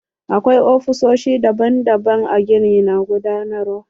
Akwai ofisoshi daban daban a gini na gudanarwa.